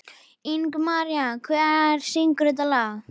Ingimaría, hver syngur þetta lag?